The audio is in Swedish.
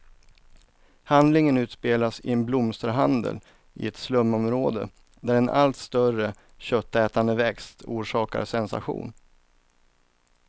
Handlingen utspelas i en blomsterhandel i ett slumområde, där en allt större köttätande växt orsakar sensation.